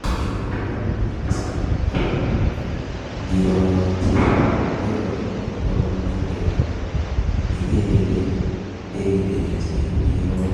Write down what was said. Boisioni kobo kamanut mising amun ngiro chito koboiboichini akot kwaame matundianoto. Negeere ile ndekiligei chi ikol